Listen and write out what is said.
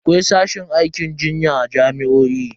Akwai sashin aikin jinya a jami'o'i.